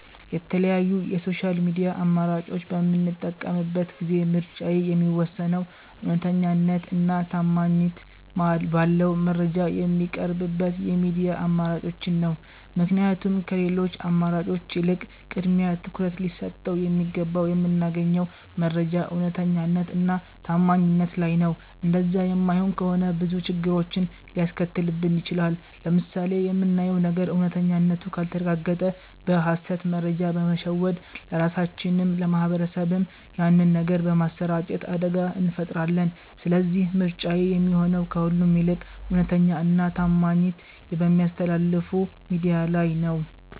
የተለያዩ የ ሶሻል ሚድያ አማራጮች በምጠቀምበት ጊዜ ምርጫዬ የሚወሰነው እውነተኛነት እና ታማኝት ባለው መረጃ ሚቀርብበት የሚድያ አማራጮችን ነው። ምክንያቱም ከሌሎቺ አማራጮች ይልቅ ቅድሚያ ትኩረት ሊሰጠው የሚገባው የምናገኘው መረጃ እውነተኛነት እና ታማኝነት ላይ ነው እንደዛ የማይሆን ከሆነ ብዙ ችግሮችን ሊያስከትልብን ይቺላል። ለምሳሌ የምናየው ነገር እውነተኛነቱ ካልተረጋገጠ በ ሀሰት መረጃ በመሸወድ ለራሳቺንም ለ ማህበረሰብም ያንን ነገር በማሰራጨት አደጋ እንፈጥራለን ስለዚህ ምርጫዬ የሚሆነው ከሁሉም ይልቅ እውነተኛ እና ታማኝት በሚያስተላልፍ ሚድያ ላይ ነው